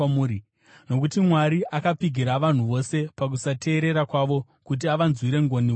Nokuti Mwari akapfigira vanhu vose pakusateerera kwavo, kuti avanzwire ngoni vose.